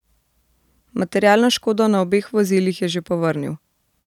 Materialno škodo na obeh vozilih je že povrnil.